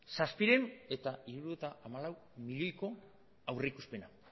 zazpiehun eta hirurogeita hamalau milioiko aurreikuspena